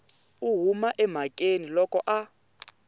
u huma emhakeni loko a